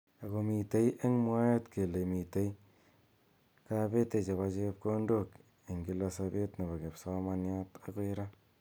Ako mitei eng mwaet kele mitei kabete ab chepkondok eng kila sabet nebo kipsomaniat akoi ra.